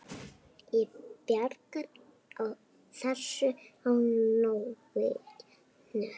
Ég bjargar þessu á nóinu.